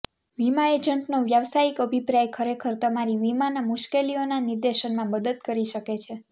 વીમા એજન્ટનો વ્યાવસાયિક અભિપ્રાય ખરેખર તમારી વીમાના મુશ્કેલીઓના નિર્દેશનમાં મદદ કરી શકે છે